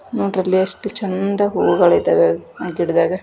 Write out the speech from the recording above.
ನೋಡ್ರಲ್ಲಿ ಎಷ್ಟು ಚಂದ ಹೂಗಳಿದಾವೆ ಆ ಗಿಡದಾಗ.